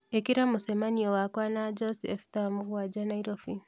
Ĩkĩra mũcemanio wakwa na Joseph thaa mũgwanja Nairobi